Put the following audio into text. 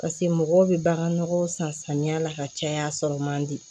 Paseke mɔgɔw bɛ bagan nɔgɔ san samiya la ka caya a sɔrɔ man di